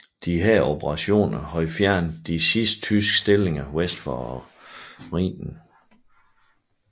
Disse operationer havde fjernet de sidste tyske stillinger vest for Rhinen